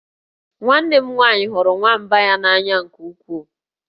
Nwanne m nwaanyị hụrụ nwamba ya n'anya nke ukwuu